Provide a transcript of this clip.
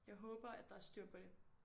Jeg håber at der er styr på det